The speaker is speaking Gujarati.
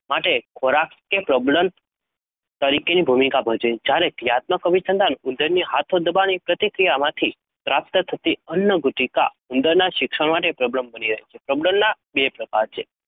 માટે ખોરાક એ પ્રબલન તરીકેની ભૂમિકા ભજવે છે. જ્યારે ક્રિયાત્મક અભિસંધાનમાં ઉંદરની હાથો દબાવવાની પ્રતિક્રિયાથી પ્રાપ્ત થતી અન્નગુટિકા ઉંદરના શિક્ષણ માટે પ્રબલન બની રહે છે. પ્રબલનના બે પ્રકારો છે.